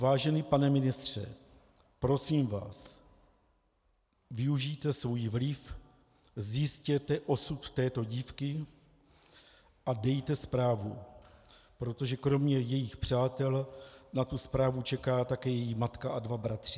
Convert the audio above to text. Vážený pane ministře, prosím vás, využijte svůj vliv, zjistěte osud této dívky a dejte zprávu, protože kromě jejích přátel na tu zprávu čeká také její matka a dva bratři.